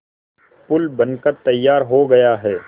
पुल बनकर तैयार हो गया है